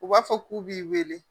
U b'a fɔ k'u b'i wele